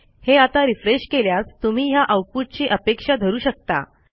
हे आता रिफ्रेश केल्यास तुम्ही ह्या आऊटपुटची अपेक्षा धरू शकता